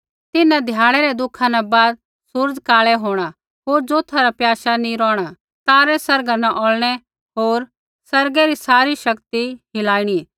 तिन्हां ध्याड़ै रै दुखा न बाद सूरज़ काल़ै होंणा होर ज़ोथा रा प्याशा नी रौहणा तारै आसमाना न औल़नै होर आसमानै री सारी शक्ति हिलाइणी